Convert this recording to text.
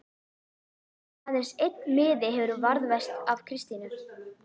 Aðeins einn miði hefur varðveist frá Kristínu